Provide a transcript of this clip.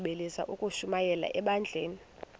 bagqalisele ukushumayela ebandleni